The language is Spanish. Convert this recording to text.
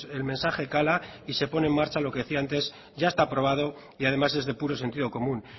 el mensaje cala y se pone en marcha lo que decía antes ya está aprobado y además es de puro sentido común